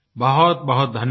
बहुतबहुत धन्यवाद